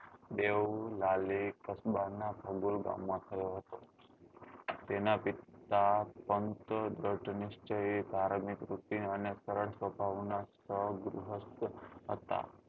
નામના ગામ માં થયો હતો તેના પિતા પંત દ્રઢ નીર્સ્ચ્યી તારણની તૃપ્તિ અને કડક સ્વભાવ નાં હતા